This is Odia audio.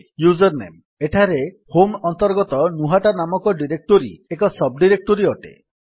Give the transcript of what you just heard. ୟୁଜର୍ ନେମ୍ ଏଠାରେ ହୋମ୍ ଅନ୍ତର୍ଗତ ଗ୍ନୁହତ ନାମକ ଡିରେକ୍ଟୋରୀ ଏକ ସବ୍ ଡିରେକ୍ଟୋରୀ ଅଟେ